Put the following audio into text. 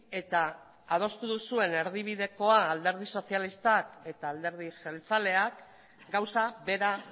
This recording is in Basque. eta adostu duzuen erdibidekoan alderdi sozialistak eta alderdi jeltzaleak gauza bera